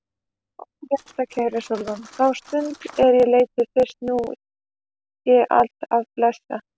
Ó hjartkæra Sólrún, þá stund er ég leit þig fyrst mun ég alt af blessa.